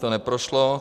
To neprošlo.